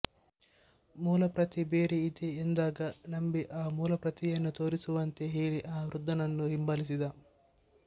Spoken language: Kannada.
ಮೂಲಪ್ರತಿ ಬೇರೆ ಇದೆ ಎಂದಾಗ ನಂಬಿ ಆ ಮೂಲಪ್ರತಿಯನ್ನು ತೋರಿಸುವಂತೆ ಹೇಳಿ ಆ ವೃದ್ಧನನ್ನು ಹಿಂಬಾಲಿಸಿದ